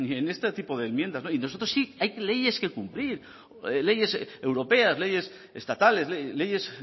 en este tipo de enmiendas y nosotros sí hay leyes que cumplir leyes europeas leyes estatales leyes